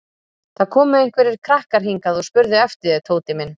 Það komu einhverjir krakkar hingað og spurðu eftir þér Tóti minn